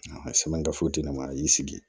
Sɛbɛn gafe di ne ma a y'i sigi